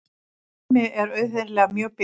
Hemmi er auðheyrilega mjög bitur.